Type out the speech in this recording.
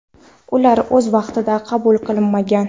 ular o‘z vaqtida qabul qilinmagan.